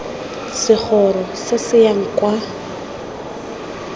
segoro se se yang kwa